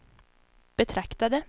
betraktade